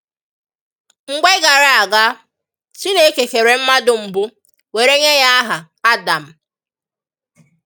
Mgbe gara aga, Chineke kèrè mmadu mbu, wèrè nye ya aha Ádàm.